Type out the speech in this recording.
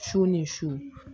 Su ni su